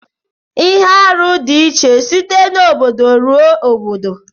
Ihe arụ di iche site n'obodo ruo n'obodo.